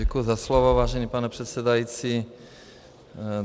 Děkuji za slovo, vážený pane předsedající.